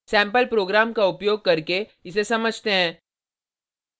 sample program का उपयोग करके इसे समझते हैं